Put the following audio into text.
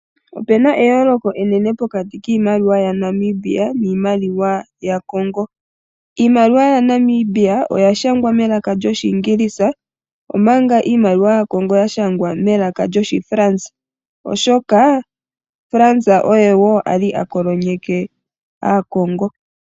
Opuna eyooloko enene pokati kiimaliwa yaNamibia niimaliwa yaCongo. Iimaliwa yaNamibia oya nyolwa melaka lyoshiingilisa omanga iimaliwa yaCongo ya nyolwa melaka lyoshiFrance, oahoka France oye woali a kolonyeke aaCongo.